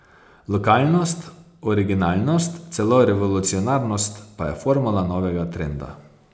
Lokalnost, originalnost, celo revolucionarnost pa je formula novega trenda.